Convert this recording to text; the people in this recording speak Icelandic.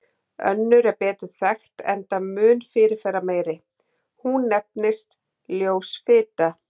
Önnur er betur þekkt enda mun fyrirferðarmeiri, hún nefnist ljós fita.